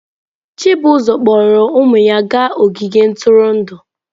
Chizuba kpọọrọ ụmụ ya gaa ogige ntụrụndụ.